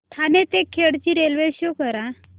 ठाणे ते खेड ची railway show करा